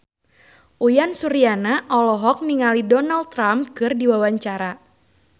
Uyan Suryana olohok ningali Donald Trump keur diwawancara